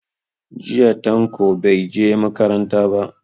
Jiya Tanko bai je makaranta ba.